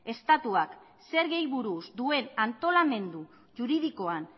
estatuak zergei buruz duen antolamendu juridikoan